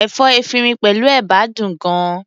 Ẹ̀fọ́ efinrin pẹ̀lú ẹ̀bà dùn gan-an.